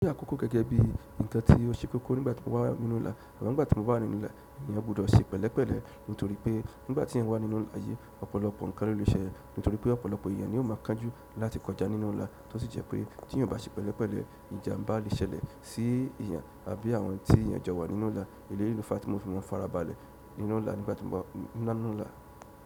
Ó jẹ kókó gẹ́gẹ́ bí ǹkan tí ó ṣe kókó nígbà tí mo ba wà nínú ìlà, amo ígbà tí mo bá wà nínú ìlà, èèyàn gbọ́dọ̀ ṣe pẹ̀lẹ́pẹ̀lẹ́ nítorí pé nígbà tí èèyàn wà nínú ìlà ayé, ọ̀pọ̀lọpọ̀ ǹkan ló lè ṣẹlẹ̀ nítorí pé ọ̀pọ̀lọpọ̀ èèyàn ni ó máa kánjú lati kọjá nínú ìlà tó sì jẹ pé ti èèyàn o ba ṣe pẹlẹpẹlẹ ìjàmbá le ṣẹlẹ̀ sii èèyàn àbí àwọn ti èèyàn jọ wà nínú ìlà. Idi eleyii ló fa tí mo fi maa farabalẹ̀ nígbà tí mo ba wà nínú ìlà.